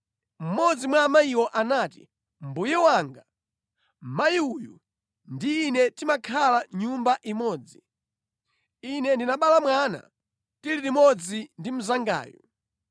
Mmodzi mwa amayiwo anati, “Mbuye wanga, mayi uyu ndi ine timakhala nyumba imodzi. Ine ndinabala mwana tili limodzi ndi mnzangayu.